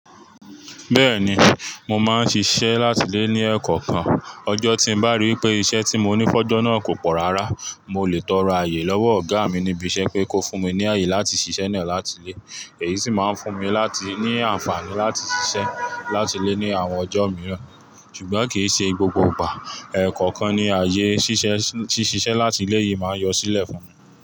Bẹ́ẹ̀ni, mo máa ń ṣiṣẹ́ láti ilé ní ẹ̀kọ̀ kan. Ọjọ́ tí mo bá ríi pé iṣẹ́ tí mo ní fọ́jọ́ náà kò pọ̀ rárá, mo lè tọrọ àyè lọ́wọ́ ọ̀gá mi níbi iṣẹ́ pé kó fún mi ní àyè láti ṣiṣẹ́ náà láti lé. Èyí sì máa ń fún mi láti ní àǹfààní láti ṣiṣẹ́ láti lé ní àwọn ọjọ́ mìíràn. Ṣùgbọ́n kì í ṣe gbogbo ìgbà. Ẹ̀kọ̀kan ní ààyè ṣíṣe ṣíṣe láti lé yìí máa ń yọ sílẹ̀ fún mi.